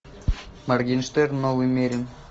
моргенштерн новый мерин